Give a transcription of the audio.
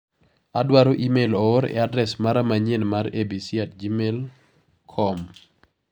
Adwaro imel oor e adres mara manyien mar abc@gmailcom